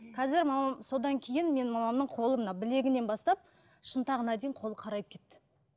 қазір мамам содан кейін менің мамамның қолы мына білегінен бастап шынтағына дейін қолы қарайып кетті